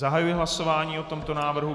Zahajuji hlasování o tomto návrhu.